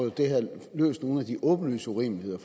løst nogle af de åbenlyse urimeligheder